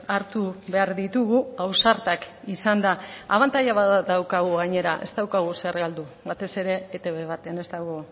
hartu behar ditugu ausartak izanda abantaila bat daukagu gainera ez daukagu zer galdu batez ere etb baten ez dago